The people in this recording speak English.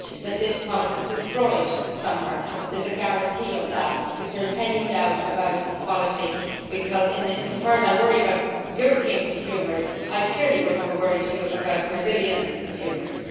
I would want this product destroyed somewhere and to have a guarantee of that if there is any doubt about its quality, because insofar as I worry about European consumers I clearly would have a worry too about Brazilian consumers.